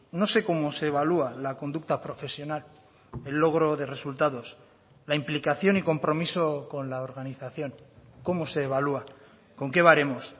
no sé cómo se evalúa la conducta profesional el logro de resultados la implicación y compromiso con la organización cómo se evalúa con qué baremos